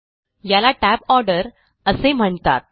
याला tab order असे म्हणतात